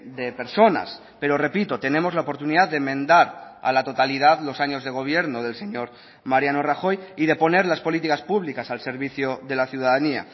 de personas pero repito tenemos la oportunidad de enmendar a la totalidad los años de gobierno del señor mariano rajoy y de poner las políticas públicas al servicio de la ciudadanía